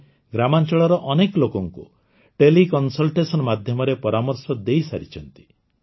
ସେ ଗ୍ରାମାଂଚଳର ଅନେକ ଲୋକଙ୍କୁ ଟେଲିକନସଲଟେସନ ମାଧ୍ୟମରେ ପରାମର୍ଶ ଦେଇସାରିଛନ୍ତି